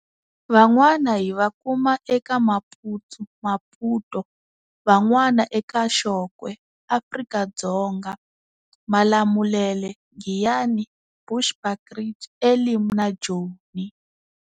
Van'wana hi va kuma eka Maputsu Maputo, va n'wana eka Xokwe, Afrika-Dzonga Malamulele, Giyani, Bushbuckridge, Elim na Joni.